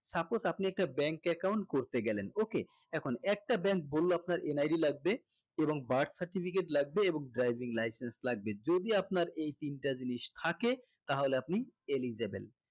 suppose আপনি একটা bank account করতে গেলেন okay এখন একটা bank বললো আপনার NID লাগবে এবং birth certificate লাগবে এবং driving license লাগবে যদি আপনার এই তিনটা জিনিস থাকে তাহলে আপনি elegible